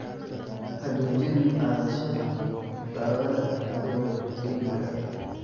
Ha joojin qaadashada daawada adiga keligaa.